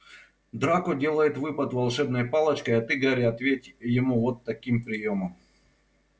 драко делает выпад волшебной палочкой а ты гарри ответь ему вот таким приёмом